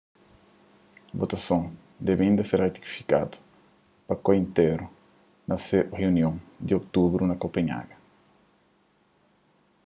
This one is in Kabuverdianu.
votason debe inda ser ratifikadu pa koi intéru na se runion di otubru na kopenhaga